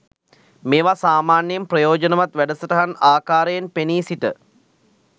මේවා සාමාන්‍යයෙන් ප්‍රයෝජනවත් වැඩසටහන් ආකාරයෙන් පෙනී සිට